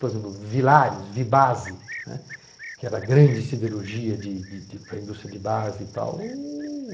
Por exemplo, Vilares, Vibase, né, que era grande siderurgia de de para a indústria de base e tal.